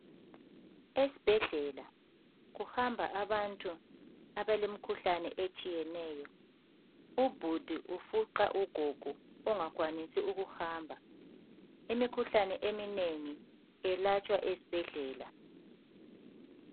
Esibhedlela kuhamba abantu ,abalemikhulane etshiyeneyo .Ubhudi ufuqa ugogo ongakhwanisi ukuhamba . Imikhuhlane eminengi iyelatshwa esibhedlela.